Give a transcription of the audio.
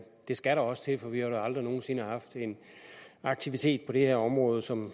det skal der også til for vi har da aldrig nogen sinde haft en aktivitet på det her område som